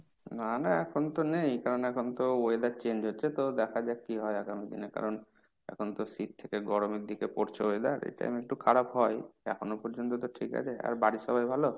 না না এখন তো নেই, কারণ এখন তো weather change হচ্ছে তো দেখা যাক কি হয়, এখন কারণ এখন তো শীত থেকে গরম এর দিকে পড়ছে weather এই time এ একটু খারাপ হয়। এখনো পর্যন্ত তো ঠিক আছে। আর বাড়ির সবাই ভালো?